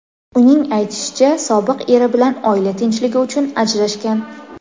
Uning aytishicha, sobiq eri bilan oila tinchligi uchun ajrashgan.